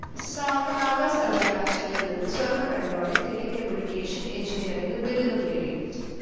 സാഗർ സർവകലാശാലയിൽ നിന്നും സ്വർണ മെഡലോടെ ടെലികമ്മ്യൂണിക്കേഷൻസ്‌ എൻജിനീയറിങ്ങിൽ ബിരുദം നേടി.